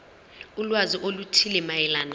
ulwazi oluthile mayelana